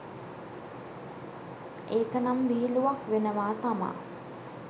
ඒකනම් විහිළුවක් වෙනවා තමා